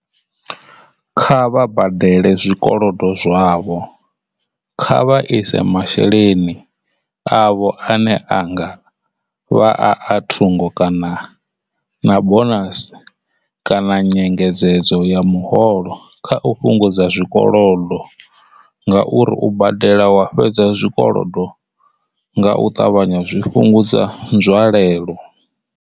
Kha vha badele zwikolodo zwavho kha vha ise masheleni avho ane a nga vha a a thungo kana na bonasi kana nyengedzedzo ya muholo kha u fhungudza zwikolodo ngauri u badela wa fhedza zwikolodo nga u ṱavhanya zwi fhungudza nzwalelo.